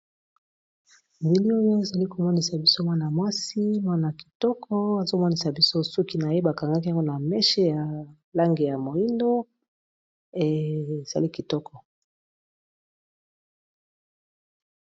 Bili oyo ezali komonisa biso mwana mwasi ya kitoko azomonisa biso suki na ye bakangaki yango na meshe ya langi ya moindo ezali kitoko.